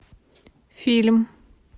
фильм